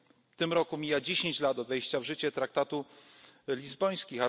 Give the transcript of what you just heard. W tym roku mija 10 lat od wejścia w życie traktatu lizbońskiego.